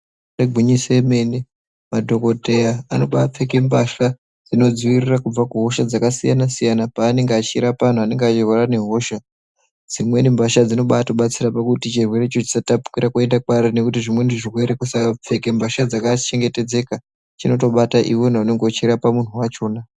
Igwinyiso remenemene madhokodheya anoba apfeke mbasha dzinodziirira kubva kuhosha dzakasiyanasiyana paanenge achirapa anhu anenge achirwara ngehosha dzimweni mbasha dzinobaatobatsira kuti chirwerecho chisatapukira kuende kwaari nekuti zvimweni zvirwere kusapfeke mbasha dzakachengetedzeka chinotobata iwewe unonga uchirapa munhu wachona.